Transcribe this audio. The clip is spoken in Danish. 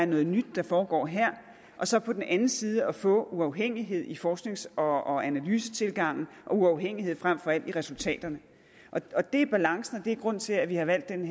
noget nyt der foregår her og så på den anden side får uafhængighed i forsknings og analysetilgangen og uafhængighed frem for alt i resultaterne det er balancen og det er grunden til at vi har valgt denne